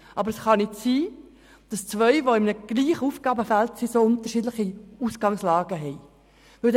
Aber es kann nicht sein, dass zwei Organisationen, die sich im selben Aufgabenfeld bewegen, über so unterschiedliche Ausgangslagen verfügen.